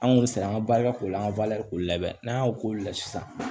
An kun bɛ siran an ka barika ko la an ka ko la dɛ n'an y'o k'o la sisan